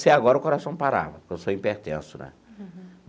Se agora o coração parava, porque eu sou hipertenso né.